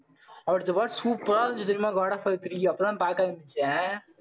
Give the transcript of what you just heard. அடுத்த part super ஆ இருந்துச்சு தெரியுமா காட் ஆஃப் வார் அப்பதான் பார்க்க ஆரம்பிச்சேன்.